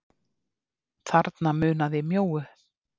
Þarna munaði mjóu.